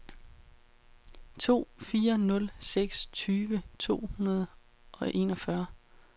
to fire nul seks tyve to hundrede og enogfyrre